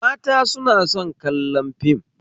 Mata suna son kallon fim